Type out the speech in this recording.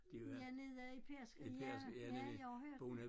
Ja nede i Pedersker ja ja jeg har hørt